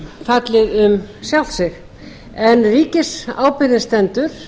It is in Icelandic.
fallið um sjálft sig en ríkisábyrgðin stendur